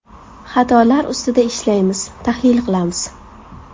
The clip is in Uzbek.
Xatolar ustida ishlaymiz, tahlil qilamiz.